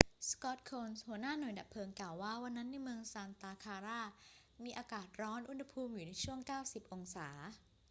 scott kouns หัวหน้าหน่วยดับเพลิงกล่าวว่า วันนั้นในเมืองซานตาคลารามีอากาศร้อน อุณหภูมิอยู่ในช่วง 90 องศา